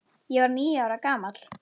Ég var níu ára gamall.